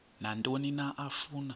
nantoni na afuna